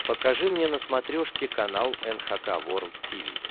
покажи мне на смотрешке канал эн эйч кей волд ти ви